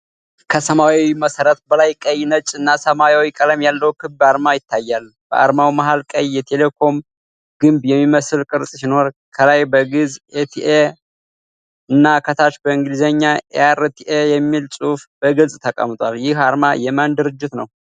ከሰማያዊ መሠረት በላይ ቀይ፣ ነጭ እና ሰማያዊ ቀለም ያለው ክብ አርማ ይታያል። በአርማው መሀል ቀይ የቴሌኮም ግንብ የሚመስል ቅርጽ ሲኖር፣ ከላይ በግዕዝ "ኢ.ቴ.ሌ"ና ከታች በእንግሊዝኛ "E.R.T.A." የሚል ጽሑፍ በግልጽ ተቀምጧል። ይህ አርማ የማን ድርጅት ነው?